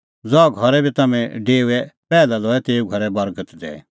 ज़हा घरै बी तम्हैं डेओए पैहलै लऐ तेऊ घरे बर्गत दैई